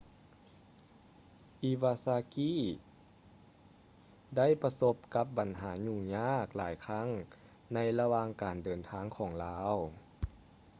ອີວາຊາກີ iwasaki ໄດ້ປະສົບກັບບັນຫາຫຍຸ້ງຍາກຫຼາຍຄັ້ງ ໃນລະຫວ່າງການເດີນທາງຂອງລາວ